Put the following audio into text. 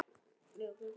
Lífið gengur í hringi.